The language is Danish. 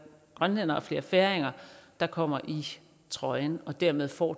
grønlændere og flere færinger der kommer i trøjen og dermed får